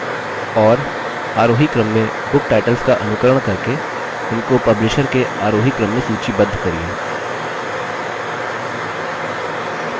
और आरोही क्रम में book titles का अनुकरण करके उनको publisher के आरोही क्रम में सूचीबद्ध करिये